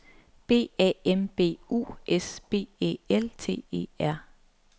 B A M B U S B Æ L T E R